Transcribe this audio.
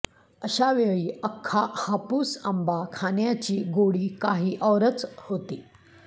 अशा वेळी अख्खा हापूस आंबा खाण्याची गोडी काही औरच होती